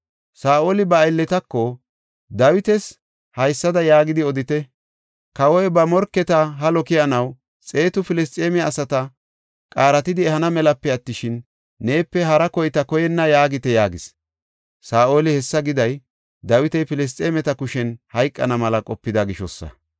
Saa7oli ba aylletako, “Dawitas haysada yaagidi odite; ‘Kawoy ba morketa halo keyanaw xeetu Filisxeeme asata qaaratidi ehana melape attishin, neepe hara koyta koyenna’ yaagite” yaagis. Saa7oli hessa giday Dawiti Filisxeemeta kushen hayqana mela qopida gishosa.